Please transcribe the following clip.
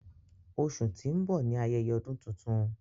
Óṣù ti ń bọ ni Ayẹyẹ Ọ́dùn Tuntun